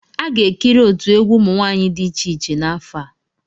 A ga-ekiri otu egwu ụmụ nwanyị dị iche iche n'afọ a.